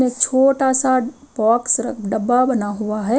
एक छोटा सा बॉक्स डब्बा बना हुआ है।